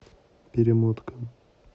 перемотка